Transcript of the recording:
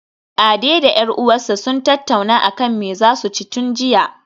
Ade da 'yar uwarsa sun tattauna akan me zasu ci tun jiya